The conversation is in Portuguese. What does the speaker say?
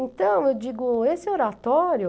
Então, eu digo, esse oratório...